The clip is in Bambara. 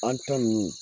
An ta nunnu